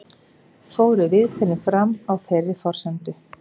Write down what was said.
Fóru viðtölin fram á þeirri forsendu